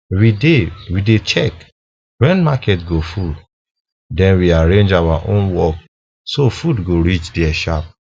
we dey we dey check when market go full then we arrange our own work so food go reach there sharp